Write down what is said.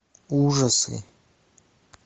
ужасы